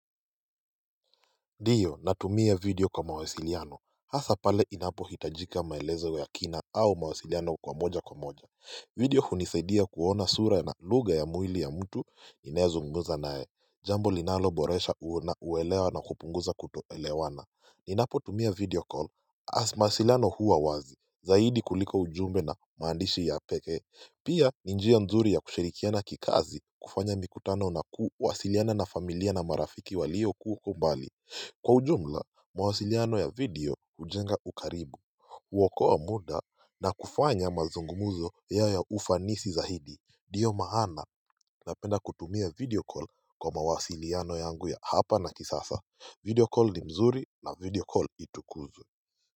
Ndio natumia video kwa mawasiliano hasa pale inapohitajika maelezo wa ya kina au mawasiliano kwa moja kwa moja video hunisaidia kuona sura na lugha ya mwili ya mtu ninayezungumza naye jambo linalo boresha uona uelewa na kupunguza kutoelewana. Ninapotumia video call as mawasiliano huwa wazi zaidi kuliko ujumbe na maandishi ya pekee pia ni njia nzuri ya kushirikiana ki kazi kufanya mikutano na kuwasiliana na familia na marafiki walio ko mbali kwa ujumla mawasiliano ya video hujenga ukaribu huokoa muda na kufanya mazungumzo yawe ya ufansi zaidi ndio maana na penda kutumia video call kwa mawasiliano yangu ya hapa na kisasa video call ni mzuri na video call itukuzwe.